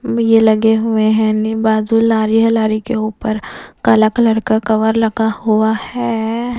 ये लगे हुए हैं बाजू लारी है लारी के ऊपर काला कलर का कवर लगा हुआ है।